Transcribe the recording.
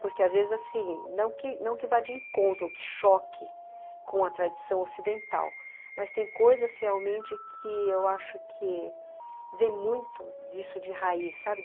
Porque, às vezes, assim, não que não que vá de encontro, que choque com a tradição ocidental, mas tem coisas, realmente, que eu acho que vem muito disso de raiz, sabe?